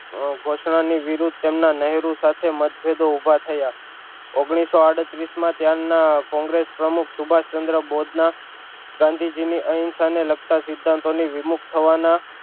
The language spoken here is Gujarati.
ઘોષણા ની વિરુદ્ધ તેમના નેહરુ સાથે મતભેદો ઊભા થયા ઓગનીશો આળત્રીશ માં ત્યાં ના કોંગ્રેસ પ્રમુખ સુભાષચંદ્ર બોજ ના ગાંધીજી ની અહિંસા ને લગતા સિદ્ધાંતો ની વિમુખ થવાના